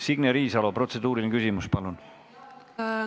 Signe Riisalo, protseduuriline küsimus, palun!